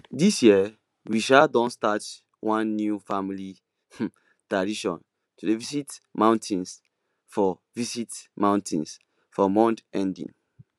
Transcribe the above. this year we um don start one new family um tradition to dey visit mountains for visit mountains for month ending